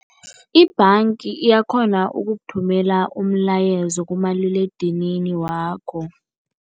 I-bank iyakhona ukukuthumela umlayezo kumaliledinini wakho.